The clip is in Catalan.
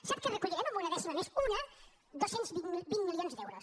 sap què recollirem amb una dècima més una dos cents vint milions d’euros